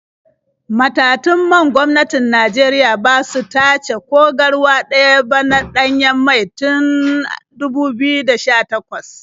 Matatun man gwamnatin Najeriya ba su tace ko garwa ɗaya ba na ɗanyen mai tun 2018.